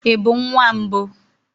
Ị bụ nwa mbụ?